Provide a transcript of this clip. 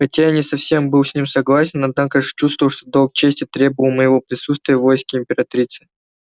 хотя я не совсем был с ним согласен однако ж чувствовал что долг чести требовал моего присутствия в войске императрицы